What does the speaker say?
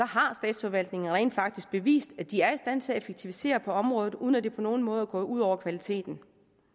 har statsforvaltningerne rent faktisk bevist at de er i stand til at effektivisere på området uden at det på nogen måde er gået ud over kvaliteten